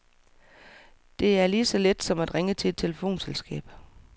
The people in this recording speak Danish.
Det er lige så let som at ringe til et telefonselskab.